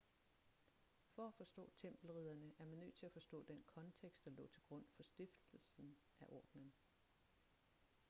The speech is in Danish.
for at forstå tempelridderne er man nødt til at forstå den kontekst der lå til grund for stiftelsen af ordenen